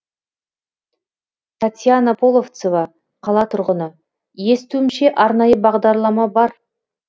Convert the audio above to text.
татьяна половцева қала тұрғыны естуімше арнайы бағдарлама бар